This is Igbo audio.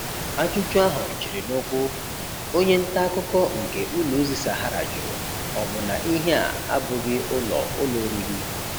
Ajụjụ ahụ chịrị n'ụ̀kwụ̀, onye nta akụkọ nke ụlọ ozi Sahara jụrụ, ọ bụ na ihe a abụghị ụlọ ụlọ oriri?